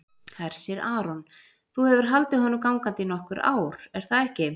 Hersir Aron: Þú hefur haldið honum gangandi í nokkur ár, er það ekki?